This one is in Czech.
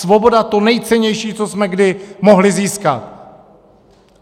Svoboda, to nejcennější, co jsme kdy mohli získat.